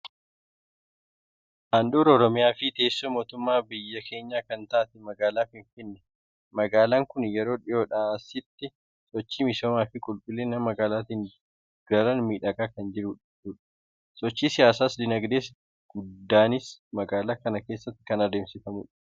Handhuura Oromiyaa fi teessoo mootummaa biyya keenyaa kan taate magaalaa Finfinnee. Magaalaan kun yeroo dhiyoodhaa asitti sochii misoomaa fi qulqullina magaalaatiin daran miidhagaa kan jirtudha. Sochiin siyaas-diinagdee guddaanis magaalaa kana keessatti kan adeemsifamudha.